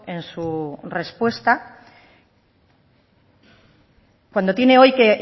en su respuesta cuando tiene hoy que